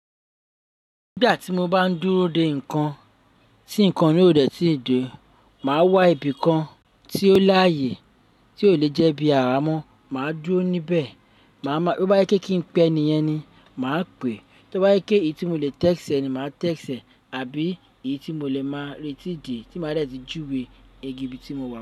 Nígbà tí mo bá ń dúró de nǹkan tí nǹkan náà ò dẹ̀ tí de, màá wá ibi kan tí ó láàyè tí ò le jẹ́ bí à àmọ́, màá dúró níbẹ̀. Bí ó bá yẹ kí n pẹ́ ni, enìyan ni màá pè. Bí ó bá yẹ kí èyí tí mo lè tẹ́ṣẹ̀ ni, màá tẹ́ṣẹ̀ àbí èyí tí mo lè máa retí dè tí màá dẹ̀ tí juwe igi ibi tí mo wà.